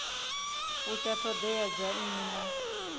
fusha ṱhoḓea dza nnyi na